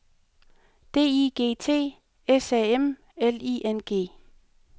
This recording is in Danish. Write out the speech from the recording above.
D I G T S A M L I N G